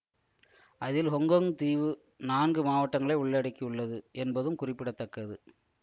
அதில் ஹொங்கொங் தீவு நான்கு மாவட்டங்களை உள்ளடக்கியுள்ளது என்பதும் குறிப்பிட தக்கது